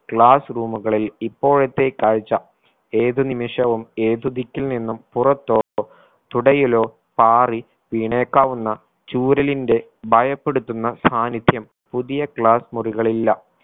class room കളിൽ ഇപ്പോഴത്തെ കാഴ്ച ഏതു നിമിഷവും ഏതു ദിക്കിൽ നിന്നും പുറത്തോ തുടയിലോ പാറി വീണേക്കാവുന്ന ചൂര്യലിന്റെ ഭയപ്പെടുത്തുന്ന സാന്നിധ്യം പുതിയ class മുറികളിലില്ല